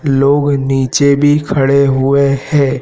लोग नीचे भी खड़े हुए है।